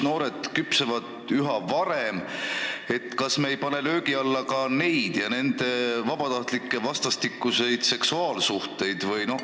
Noored saavad üha varem küpseks ja kas me ei pane löögi alla ka nende vabatahtlikke vastastikuseid seksuaalsuhteid?